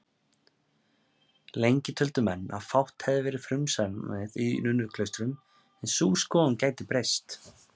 Lengi töldu menn að fátt hafi verið frumsamið í nunnuklaustrum, en sú skoðun gæti breyst.